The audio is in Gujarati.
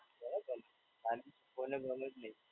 બરાબર છે. અને કોલેજ વૉલેજ નહીં.